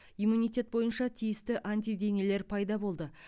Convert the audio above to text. иммунитет бойынша тиісті антиденелер пайда болды